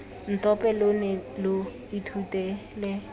ntope lo ne lo ithutela